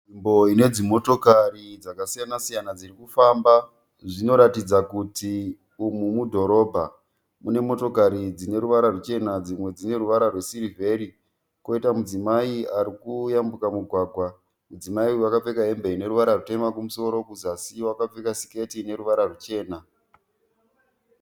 Nzvimbo ine dzimotokari dzakasiyana siyana dziri kufamba zvinoratidza kuti umu mudhorobha mune motokari dzine ruvara ruchena dzimwe dzine ruvara rwesirivheri koita mudzimai ari kuyambuka mugwagwa mudzimai uyu akapfeka hembe ine ruvara rutema kumusoro kuzasi wakapfeka siketi ine ruvara ruchena.